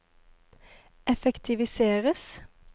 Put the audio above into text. effektiviseres